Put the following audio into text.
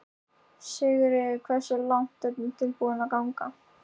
Sigríður: Og hversu langt eru þið tilbúnir að ganga?